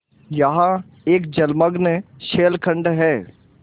यहाँ एक जलमग्न शैलखंड है